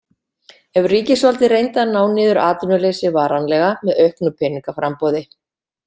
Ef ríkisvaldið reyndi að ná niður atvinnuleysi varanlega með auknu peningaframboði.